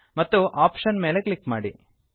ಮತ್ತು ಆಪ್ಷನ್ ಮೇಲೆ ಕ್ಲಿಕ್ ಮಾಡಿ